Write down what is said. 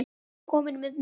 Við erum komin með nóg.